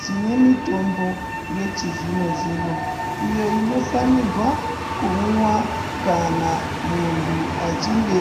Tinemitombo yechizvino zvino iyo inofanirwa kumwiwa kana muntu achinge